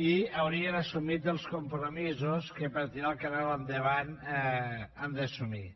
i haurien assumit els compromisos que per tirar el canal endavant han d’assumir